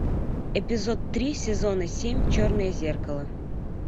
эпизод три сезона семь черное зеркало